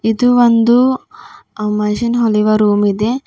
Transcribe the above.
ಇದು ಒಂದು ಅ ಮಷನ್ ಹೋಲಿವ ರೂಮ್ ಇದೆ.